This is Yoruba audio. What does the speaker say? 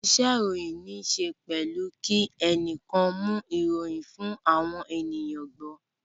Isẹ́ ìròyìn níse pẹ̀lú kí ẹnìkan mú ìròyìn fún àwọn ènìyàn gbọ́